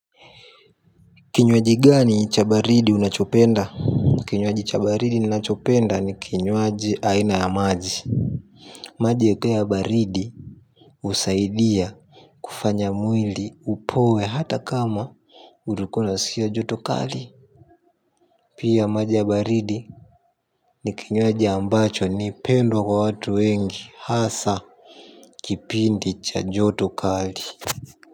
Kinywaji gani cha baridi unachopenda? Kinywaji cha baridi ninachopenda ni kinywaji aina ya maji maji kaya baridi husaidia kufanya mwili upoe hata kama ulikuwa unasikia joto kali. Pia maji ya baridi ni kinywaji ambacho ni pendwa kwa watu wengi hasa kipindi cha joto kali.